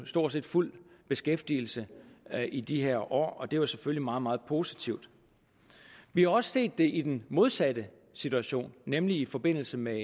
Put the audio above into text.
stort set fuld beskæftigelse i de her år og det var selvfølgelig meget meget positivt vi har også set det i den modsatte situation nemlig i forbindelse med